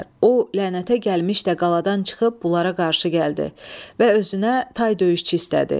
O lənətə gəlmiş də qaladan çıxıb bunlara qarşı gəldi və özünə tay döyüşçü istədi.